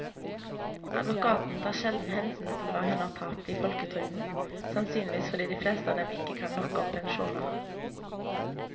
Advokatene tar sjelden hensyn til hva hun har tapt i folketrygden, sannsynligvis fordi de fleste av dem ikke kan nok om pensjoner.